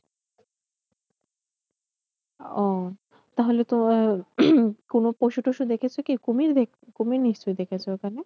ও তাহলে তো কোনো পশুটসু দেখেছো কি কুমির দেখেছো, কুমির নিশ্চই দেখেছো ওখানে